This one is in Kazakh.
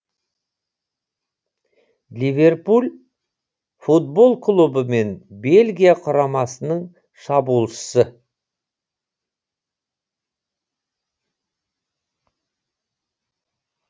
ливерпуль футбол клубы мен бельгия құрамасының шабуылшысы